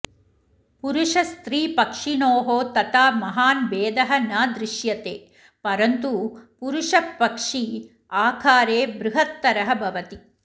पुरूषस्त्रीपक्षिणोः तथा महान् भेदः न दृश्यते परन्तु पुरुषपक्षी आकारे बृहत्तरः भवति